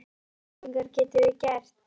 Hvaða væntingar getum við gert?